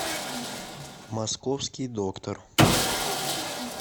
московский доктор